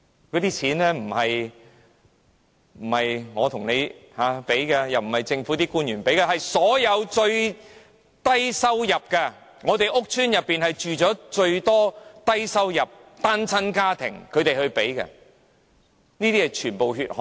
那些錢並非來自我和你，亦非來自政府官員，而是來自最低收入的一群，因為屋邨是最多低收入、單親家庭居住的地方，全部也是"血汗錢"。